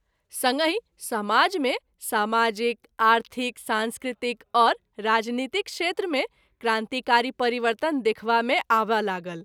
संगहि सामाज मे सामाजिक, आर्थिक ,सांस्कृतिक, और राजनीतिक क्षेत्र मे क्रांतिकारी परिवर्तन देखबा मे आबय लागल।